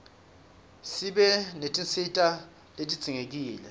sibe netinsita letidzinqekile